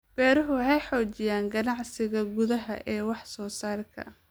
Beeruhu waxay xoojiyaan ganacsiga gudaha ee wax soo saarka.